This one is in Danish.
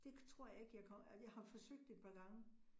Det tror jeg ikke jeg kommer, altså jeg har forsøgt et par gange